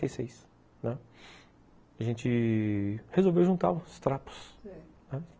e A gente resolveu juntar os trapos, né, sei